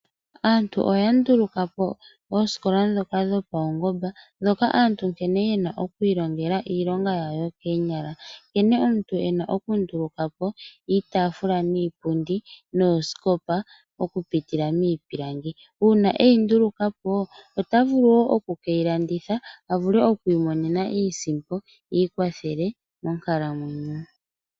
Aantu oya toto po oosikola ndhoka dhopaungomba hoka aantu haya ilongele iilonga yawo yokoonyala nkene omuntu ena oku nduluka po iitaafula, iipundi noosikopa okupitila miipilangi. Uuna eyi nduluka po ota vulu woo oku keyi landitha opo avule oku imonena iisimpo iikwathele monkalamwenyo.